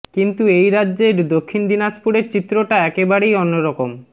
কিন্তু এই রাজ্যের দক্ষিণ দিনাজপুরের চিত্রটা একেবারেই অন্য রকম